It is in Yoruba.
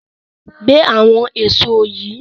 Gbé àwọn èso yìí!